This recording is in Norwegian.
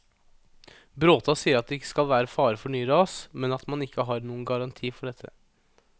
Bråta sier at det ikke skal være fare for nye ras, men at man ikke har noen garanti for dette.